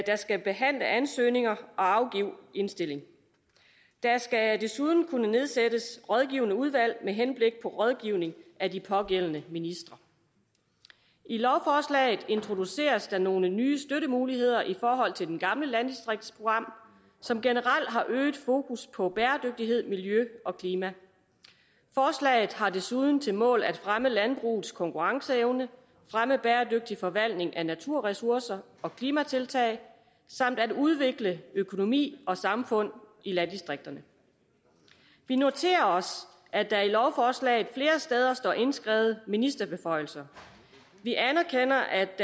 skal behandle ansøgninger og afgive indstillinger der skal desuden kunne nedsættes rådgivende udvalg med henblik på rådgivning af de pågældende ministre i lovforslaget introduceres der nogle nye støttemuligheder i forhold til det gamle landdistriktsprogram som generelt har øget fokus på bæredygtighed miljø og klima forslaget har desuden til mål at fremme landbrugets konkurrenceevne fremme bæredygtig forvaltning af naturressourcer og klimatiltag samt at udvikle økonomi og samfund i landdistrikterne vi noterer os at der i lovforslaget flere steder står indskrevet ministerbeføjelser vi anerkender at